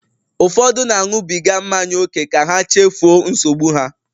Ụfọdụ na-aṅụbiga mmanya ókè ka ha chefuo nsogbu ha.